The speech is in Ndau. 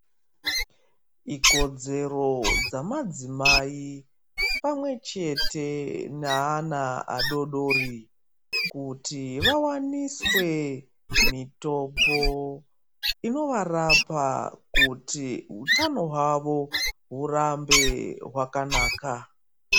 Ikodzero dzamadzimai pamwe chete naana adodori, kuti vawaniswe mitombo inovarapa, kuti utano hwavo hurambe hwakanaka.